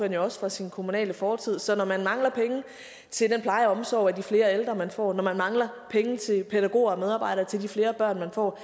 jo også fra sin kommunale fortid så når man mangler penge til den pleje og omsorg over for de flere ældre man får når man mangler penge til pædagoger og medarbejdere til de flere børn man får